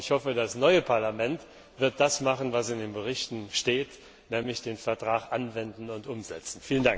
Und ich hoffe, das neue Parlament wird das machen, was in den Berichten steht, nämlich den Vertrag anwenden und umsetzen.